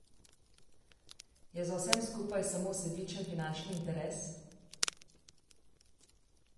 Je za vsem skupaj samo sebičen finančni interes?